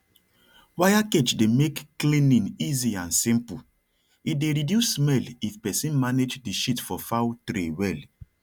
wire cage dey make cleaning easy and simple e dey reduce smell if person manage the shit for fowl tray well